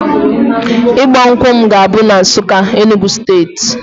Ịgba nkwụ m ga-abụ na Nsukka, Enugwu steeti